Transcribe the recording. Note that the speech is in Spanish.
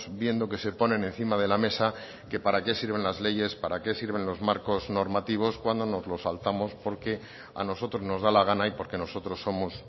viendo que se ponen encima de la mesa que para qué sirven las leyes para qué sirven los marcos normativos cuando nos los saltamos porque a nosotros nos da la gana y porque nosotros somos